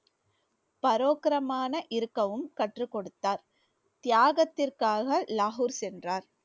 பரோக்ரமான இருக்கவும் கற்றுக்கொடுத்தார். தியாகத்துக்காக லாகூர் சென்றார்